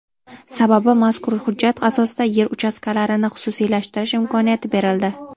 Sababi, mazkur hujjat asosida yer uchastkalarini xususiylashtirish imkoniyati berildi.